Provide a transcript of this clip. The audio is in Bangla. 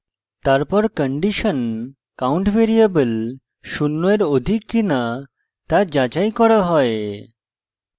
তারপর condition count ভ্যারিয়েবল শূন্য এর অধিক কিনা তা যাচাই করা হয়